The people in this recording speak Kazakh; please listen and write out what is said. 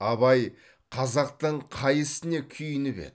абай қазақтың қай ісіне күйініп еді